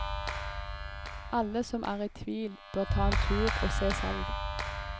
Alle som er i tvil bør ta en tur og se selv.